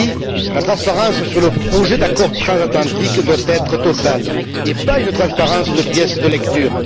Oui, la transparence sur le projet d'accord transatlantique doit être totale et pas une transparence de pièce de lecture.